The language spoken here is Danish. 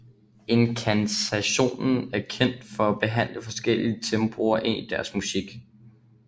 Incantation er kendt for at blande forskellige tempoer ind i deres musik